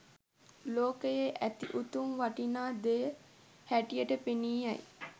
ලෝකයේ ඇති උතුම් වටිනා දෙය හැටියට පෙනී යයි.